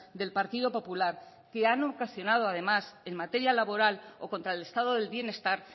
del partido popular que han ocasionado además en materia laboral o contra el estado del bienestar